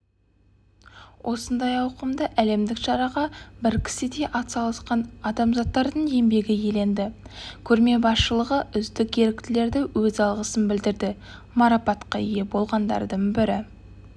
осындай ауқымды әлемдік шараға бір кісідей атсалысқан азаматтардың еңбегі еленді көрме басшылығы үздік еріктілерге өз алғысын білдірді марапатқа ие болғандардың бірі